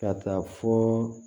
Ka taa fɔ